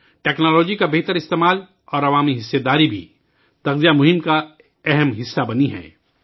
technology کا بہتر استعمال اور عوام کی شرکت بھی نیوٹریشن مہم کا ایک اہم حصہ بن گئی ہے